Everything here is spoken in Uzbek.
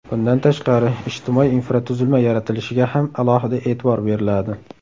Bundan tashqari, ijtimoiy infratuzilma yaratilishiga ham alohida e’tibor beriladi.